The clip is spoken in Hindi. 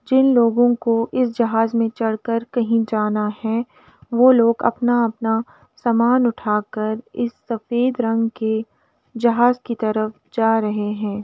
जिन लोगो को इस जहाँज में चढ़कर कही जाना है वो लोग अपना-अपना सामान उठाकर इस सफ़ेद रंग के जहाँज की तरफ जा रहे हैं।